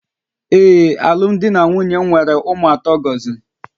Ee, alụmdi na nwunye m nwere ụmụ atọ gọziri